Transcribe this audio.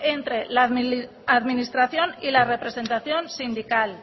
entre la administración y la representación sindical